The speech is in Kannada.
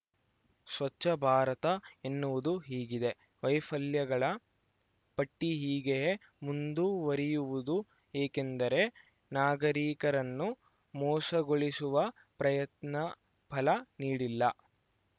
ಸ್ವಚ್ಛ ಭಾರತ ಎನ್ನುವುದು ಹೀಗಿದೆ ವೈಫಲ್ಯಗಳ ಪಟ್ಟಿಹೀಗೆಯೇ ಮುಂದುವರಿಯುವುದು ಏಕೆಂದರೆ ನಾಗರಿಕರನ್ನು ಮೋಸಗೊಳಿಸುವ ಪ್ರಯತ್ನ ಫಲ ನೀಡಿಲ್ಲ